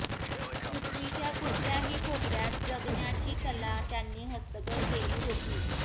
पृथ्वीच्या कुठल्याही कोपऱ्यात जगण्याची कला त्यांनी हस्तगत केली होती